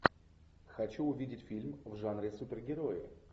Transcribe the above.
хочу увидеть фильм в жанре супергерои